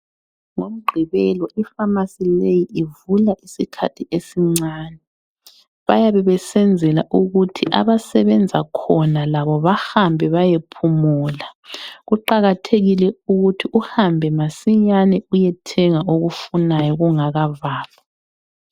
NgoMgqibelo ifamasi leyi ivula isikhathi esincane. Bayabe besenzela ukuthi abasebenza khona labo bahambe bayephumula. Kuqakathekile ukuthi uhambe masinyane uyethenga okufunayo kungakavalwa.